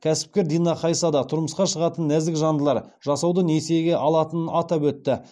кәсіпкер дина хайса да тұрмысқа шығатын нәзікжандылар жасауды несиеге алатынын атап өтті